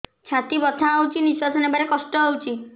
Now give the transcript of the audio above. ଛାତି ବଥା ହଉଚି ନିଶ୍ୱାସ ନେବାରେ କଷ୍ଟ ହଉଚି